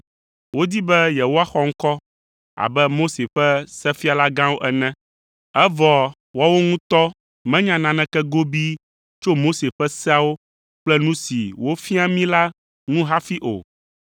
Wodi be yewoaxɔ ŋkɔ abe Mose ƒe sefialagãwo ene, evɔ woawo ŋutɔ menya naneke gobii tso Mose ƒe seawo kple nu si wofiaa mí la ŋu hafi o.